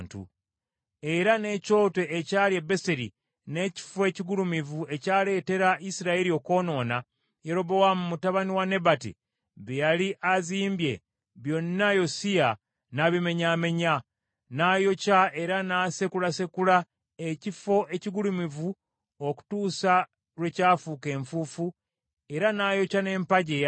Era n’ekyoto ekyali e Beseri, n’ekifo ekigulumivu ekyaleetera Isirayiri okwonoona, Yerobowaamu mutabani wa Nebati bye yali azimbye, byonna Yosiya n’abimenyaamenya. N’ayokya era n’asekulasekula ekifo ekigulumivu okutuusa lwe kyafuuka enfuufu era n’ayokya n’empagi eya Asera.